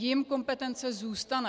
Jim kompetence zůstane.